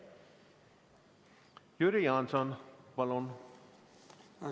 Jüri Jaanson, palun!